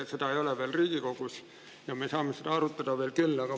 Seda veel Riigikogus ei ole ja me saame seda arutada siin veel küll.